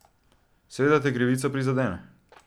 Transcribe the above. Seveda te krivica prizadene.